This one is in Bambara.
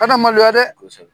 Kana maloya dɛ